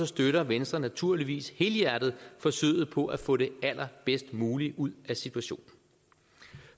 støtter venstre naturligvis helhjertet forsøget på at få det allerbedst mulige ud af situationen